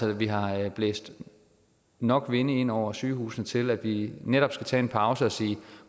at vi har blæst nok vinde ind over sygehusene til at vi netop skal tage en pause og sige